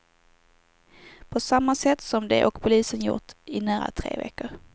På samma sätt som de och polisen gjort i nära tre veckor.